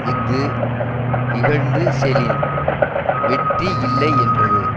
இஃது இகழ்ந்து செலின் வெற்றி இல்லை என்றது